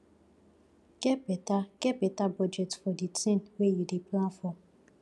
get better get better budget for the thing wey you dey plan for